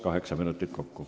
Kaheksa minutit kokku.